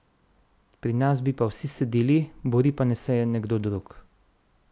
Pri nas bi pa vsi sedeli bori se pa naj kdo drug.